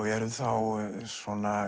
eru þá svona